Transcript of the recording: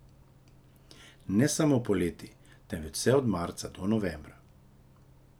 Ne samo poleti, temveč vse od marca do novembra.